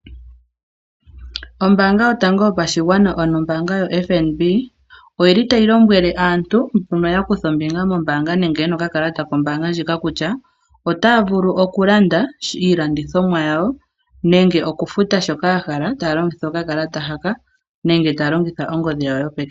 Ombaanga yotango yopashigwana ano oFNB, oyi li tayi lombwele aantu mbono ya kutha ombinga mombaanga nenge yena okakalata kombaanga ndjika, kutya otaya vulu okulanda iilandithomwa yawo nenge okufuta shoka ya hala, taya longitha okakalata haka nenge taya longitha ongodhi yawo yopeke.